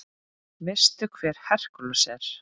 Veistu hver Hercules er?